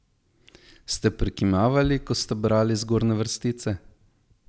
Ste prikimavali, ko ste brali zgornje vrstice?